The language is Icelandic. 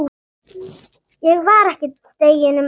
Ég var ekki deginum eldri.